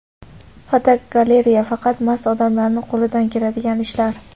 Fotogalereya: Faqat mast odamlarning qo‘lidan keladigan ishlar.